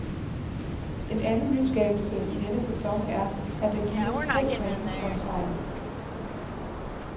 En anden nyskabelse i denne sæson er, at der gives tre point for en sejr.